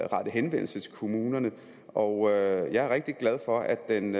rettet henvendelse til kommunerne og jeg er rigtig glad for at den